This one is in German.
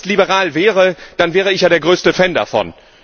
Wenn es liberal wäre, dann wäre ich ja der größte Fan davon!